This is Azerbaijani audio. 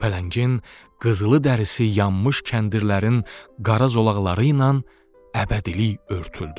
Pələngin qızılı dərisi yanmış kəndirlərin qara zolaqları ilə əbədilik örtüldü.